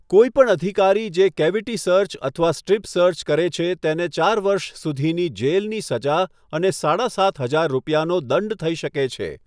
કોઈ પણ અધિકારી જે કેવિટી સર્ચ અથવા સ્ટ્રીપ સર્ચ કરે છે તેને ચાર વર્ષ સુધીની જેલની સજા અને સાડા સાત હજાર રૂપિયાનો દંડ થઈ શકે છે.